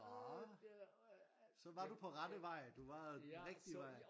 Nå så var du rette vej du var den rigtige vej